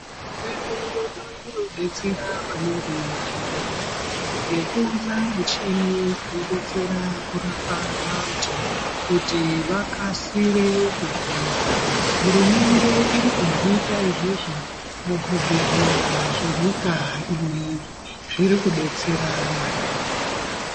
Hurumende yedu inodetsera maningi muzvibhedhlera nekuunze michini inodetsera kurapa vantu kuti vakasire kupora hurumende iri kuzviita izvozvo muzvibhedhlera zvenyika ineiyi zviriku detsera maningi.